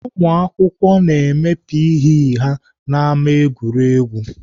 Ụmụakwụkwọ na-eme P. E ha n'ámá egwuregwu.